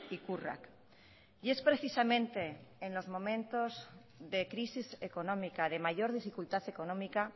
ikurrak y es precisamente en los momentos de crisis económica de mayor dificultad económica